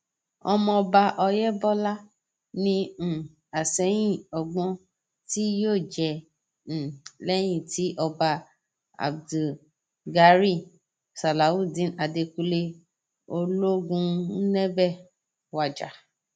ọmọọba ọyẹbọlá ni um àsẹyìn ọgbọn tí yóò jẹ um lẹyìn tí ọba abdugariy salawudeen àdẹkùnlé olóògùnébé wájà